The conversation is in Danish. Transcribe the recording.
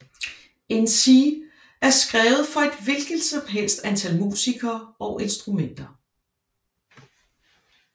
In C er skrevet for et hvilket som helst antal musikere og instrumenter